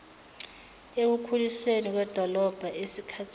ekukhulisweni kwedolobha esikathini